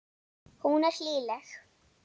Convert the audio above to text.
Hún er hlýleg.